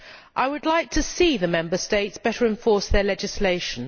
I would like to see the Member States better enforce their legislation.